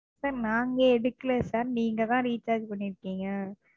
Sir நாங்க எடுக்கலை Sir நீங்க தான் Recharge பண்ணிருக்கீங்க.